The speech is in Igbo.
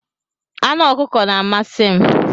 Anụ ọkụkọ na-amasị m.